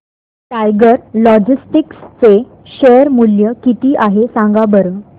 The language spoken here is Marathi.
टायगर लॉजिस्टिक्स चे शेअर मूल्य किती आहे सांगा बरं